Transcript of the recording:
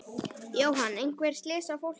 Jóhann: Einhver slys á fólki?